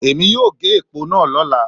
Èmi yóò gé èpò náà lọ́la